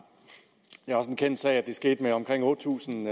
det er også en kendt sag at det skete med omkring otte tusind